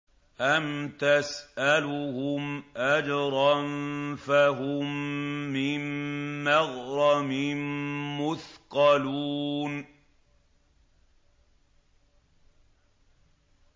أَمْ تَسْأَلُهُمْ أَجْرًا فَهُم مِّن مَّغْرَمٍ مُّثْقَلُونَ